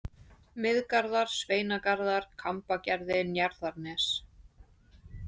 Miðgarðar, Sveinagarðar, Kambagerði, Njarðarnes